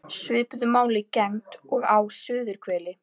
Svipuðu máli gegndi og á suðurhveli.